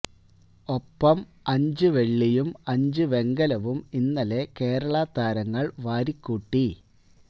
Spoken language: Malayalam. ഒപ്പം അഞ്ച് വെള്ളിയും അഞ്ച് വെങ്കലവും ഇന്നലെ കേരള താരങ്ങള് വാരിക്കൂട്ടി